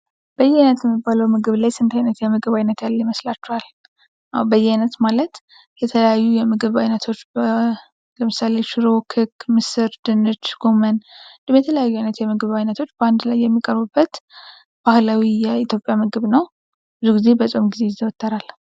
በየዓይነት የሚባለው ምግብ ላይ ስንት ዓይነት የምግብ አይነት ያለ ይመስላችኋል? አዎ በየዓይነት ማለት የተለያዩ የምግብ አይነቶች በ ለምሳሌ ሽሮ፣ ክክ፣ ምስር፣ ድንች፣ ጎመን፣ ልዩነት የምግብ ዓይነቶች በአንድ ላይ የሚቀርቡበት ባህላዊ የኢትዮጵያ ምግብ ነው። ብዙ ጊዜ በፆም ጊዜ ይዘወተራል።